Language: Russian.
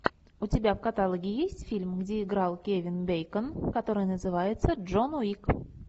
у тебя в каталоге есть фильм где играл кевин бейкон который называется джон уик